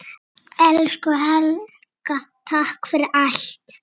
Elsku Helga, takk fyrir allt.